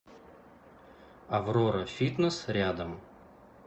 аврора фитнес рядом